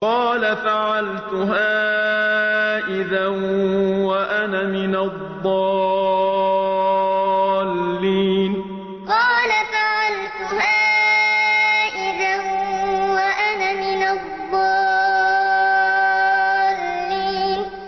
قَالَ فَعَلْتُهَا إِذًا وَأَنَا مِنَ الضَّالِّينَ قَالَ فَعَلْتُهَا إِذًا وَأَنَا مِنَ الضَّالِّينَ